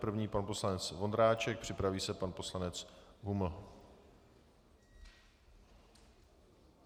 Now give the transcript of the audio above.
První pan poslanec Vondráček, připraví se pan poslanec Huml.